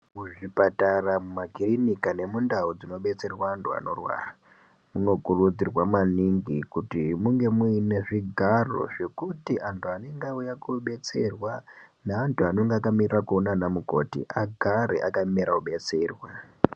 Muzvipatara, mumakirinika nemundau dzinodetserwa antu anorwara, munokurudzirwa maningi kuti munge muine zvigaro zvekuti antu anenge auya kobetserwa neantu anenge akamirira koona ana mukoti agare akamirira kudetserwa.